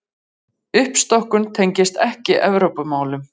Uppstokkun tengist ekki Evrópumálum